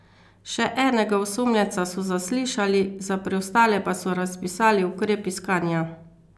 Še enega osumljenca so zaslišali, za preostale pa so razpisali ukrep iskanja.